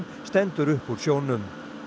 stendur upp úr sjónum